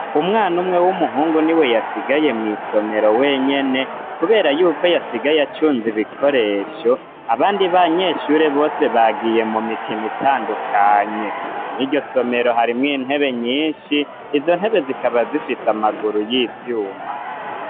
Umwana umwe w'umuhungu ni we yasigaye mw'isomero wenyene, kubera yuko yasigaye acunza ibikoresho abandi ba nyeshure bose bagiye mu mikino itandukanye mw'iryo somero harimwo intebe nyinshi izo ntebe zikaba zifise amaguru y'ivyuma.